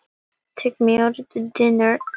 Litlagerði